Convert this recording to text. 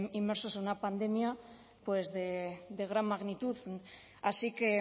inmersos en una pandemia pues de gran magnitud así que